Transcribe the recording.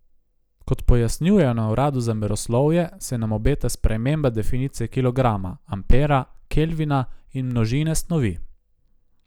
Kot pojasnjujejo na uradu za meroslovje, se nam obeta sprememba definicije kilograma, ampera, kelvina in množine snovi.